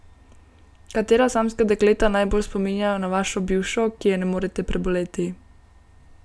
Katera samska dekleta najbolj spominjajo na vašo bivšo, ki je ne morete preboleti?